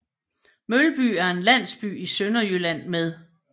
Mølby er en landsby i Sønderjylland med